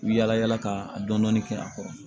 U bi yala yala ka dɔni kɛ a kɔrɔ